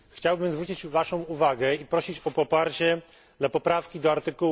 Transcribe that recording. Chciałbym zwrócić Waszą uwagę i prosić o poparcie dla poprawki do art.